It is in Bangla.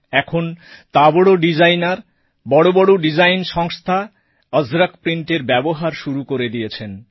এখন তাবড় ডিজাইনার বড় বড় ডিজাইন সংস্থা অজরক প্রিন্টের ব্যবহার শুরু করে দিয়েছে